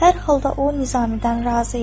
Hər halda o Nizamidən razı idi.